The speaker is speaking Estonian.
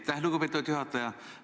Aitäh, lugupeetud juhataja!